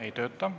Ei tööta.